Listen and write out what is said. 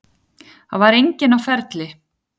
Það var enginn á ferli.